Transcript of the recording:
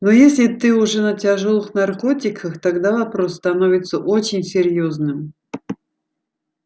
но если ты уже на тяжёлых наркотиках тогда вопрос становится очень серьёзным